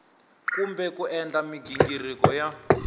kumbe ku endla mighingiriko ya